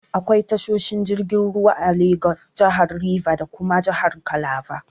Akwai tashoshi jirgin ruwa a Lagos, jahar Rivers da kuma jahar Calabar